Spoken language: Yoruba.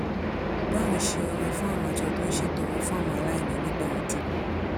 bá òun ṣe ọrẹ fún àwọn àjọ tó ń ṣètọrẹ fún àwọn aláìní nígbà ọdún